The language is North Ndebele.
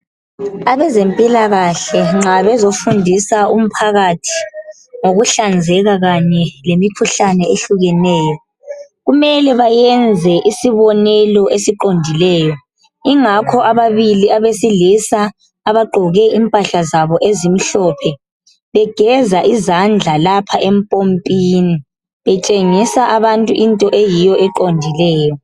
Abezempilakahle nxa bezofundisa umphakathi ngokuhlanzeka kanye lemikhuhlane ehlukeneyo kumele bayenze isibonelo esiqondileyo ingakho ababili abesilisa abagqoke impahla zabo ezimhlophe begeza izandla lapha empompini betshengisa abantu into eyiyo eqondileyo.